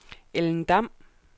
Ellen Dam